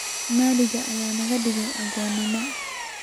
Malak aya nakadigey aagoma.